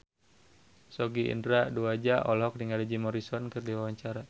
Sogi Indra Duaja olohok ningali Jim Morrison keur diwawancara